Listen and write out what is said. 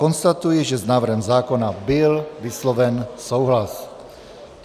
Konstatuji, že s návrhem zákona byl vysloven souhlas.